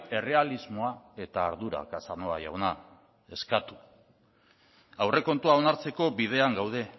errealismoa eta ardura casanova jauna eskatu aurrekontua onartzeko bidean gaude